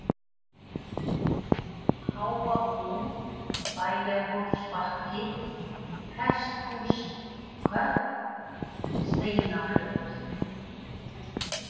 Háabrún, Bæjarhólfsbakki, Hesthússköpp, Steinaflöt